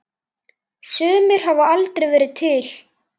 Sumir hafa aldrei verið til.